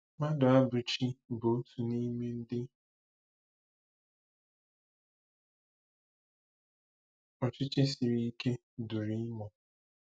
Maduabuchi bụ otu n'ime ndị ọchịchị siri ike duru Imo.